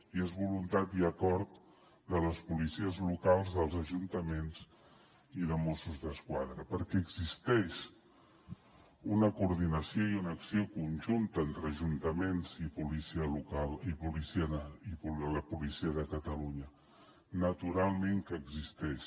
i és voluntat i acord de les policies locals dels ajuntaments i de mossos d’esquadra perquè existeix una coordinació i una acció conjunta entre ajuntaments i policia local i la policia de catalunya naturalment que existeix